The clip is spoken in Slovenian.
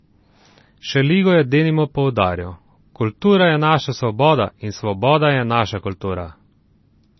Šeligo je denimo poudarjal: "Kultura je naša svoboda in svoboda je naša kultura".